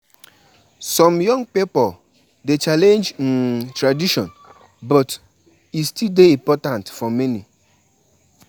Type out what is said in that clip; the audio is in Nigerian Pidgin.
Check di weather report weather report before you comot to avoid "had I known"